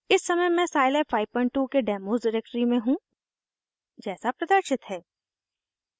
इस समय मैं साइलैब 52 के डेमोस डिरेक्टरी में हूँ जैसा प्रदर्शित है